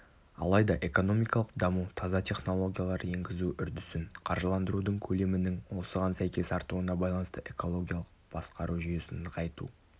алайда экономикалық даму таза технологиялар енгізу үрдісін қаржыландырудың көлемінің осыған сәйкес артуына байланысты экологиялық басқару жүйесін нығайту